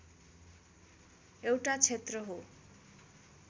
एउटा क्षेत्र हो